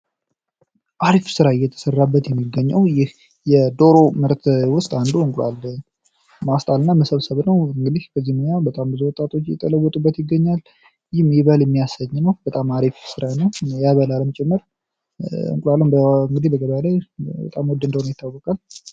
አሪፍ ስራ እየተሰራበት የሚገኘዉ ይህ የደሮ ምርት ዉስጥ አንዱ እንቁላል ማስጣል እና መሰብሰብ ነዉ። እንግዲ በዝንኛዉ ብዙ ወጣቶች እየተለወጡበት ይገኛል ይህም ይበል እሚያሰኝ ነዉ ። በጣም አሪፍ ስራ ነዉያበላልም ጭምር በበአልም እንግዲ በገበያ ላይ በጣም ዉድ እንደሆነ ይታወቃል።